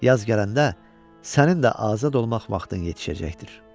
Yaz gələndə sənin də azad olmaq vaxtın yetişəcəkdir.